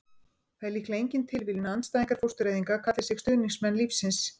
það er líklega engin tilviljun að andstæðingar fóstureyðinga kalli sig stuðningsmenn lífsins